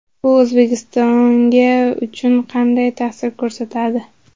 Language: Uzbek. Bu O‘zbekistonga uchun qanday ta’sir ko‘rsatadi?